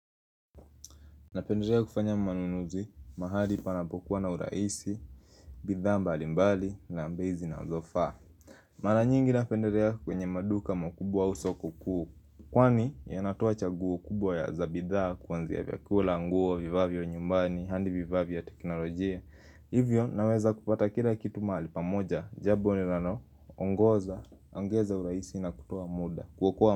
Napenderea kufanya manunuzi, mahali panapokuwa na urahisi, bidhaa mbalimbali na bei zinazofaa Mara nyingi napenderea kwenye maduka makubwa au soko kuu Kwani yanatoa chaguo kubwa za bidhaa kuanzia vyakula nguo vivaa vya nyumbani, handi vivaa vya vya teknolojia Hivyo naweza kupata kila kitu mahali pamoja, jabo linaroongeza urahisi na kutoa muda.